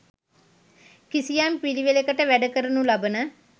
කිසියම් පිළිවෙළකට වැඩ කරනු ලබන